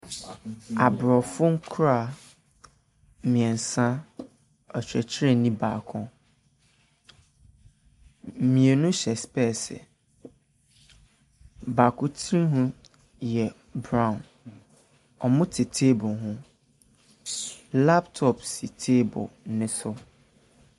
Aborɔfo nkwadaa mmeɛnsa, ɔkyerɛkyerɛni baako. Mmienu hyɛ sopɛɛse. Baako tirinwi yɛ brown. Wɔte table ho. Hyyy laptop si table no so.